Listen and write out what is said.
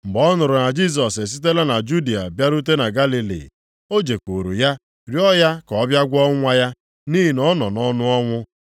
Mgbe ọ nụrụ na Jisọs esitela na Judịa bịarute na Galili, o jekwuuru ya rịọ ya ka ọ bịa gwọọ nwa ya, nʼihi na ọ nọ nʼọnụ ọnwụ.